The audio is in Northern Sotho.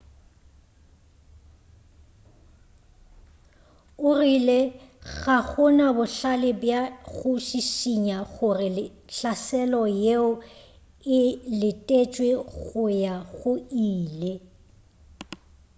o rile ga gona bohlale bja go šišinya gore hlaselo yeo e letetšwe go ya go ile